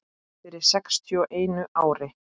Fyrir sextíu og einu ári.